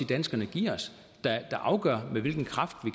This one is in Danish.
danskerne giver os der afgør med hvilken kraft